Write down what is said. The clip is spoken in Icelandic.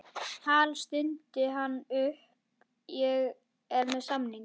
Hal, stundi hann upp, ég er með samning